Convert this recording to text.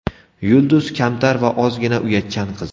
Yulduz kamtar va ozgina uyatchan qiz.